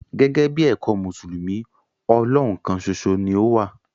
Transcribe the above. Gẹ̀gẹ̀bí èkọ̀ Musulumi, Ọlọ́hùn kán sòṣo ni o wà.